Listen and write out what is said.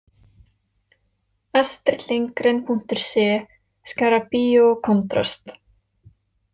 Astridlindgren.se Skara Bio Kontrast